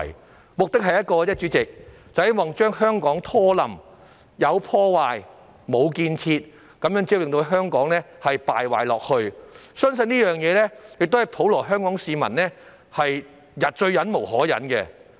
他們的目的只有一個，就是要拖垮香港，有破壞、無建設，這樣只會令香港繼續敗壞，而相信這亦是普羅香港市民最忍無可忍的事。